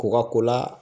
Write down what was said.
K'u ka ko la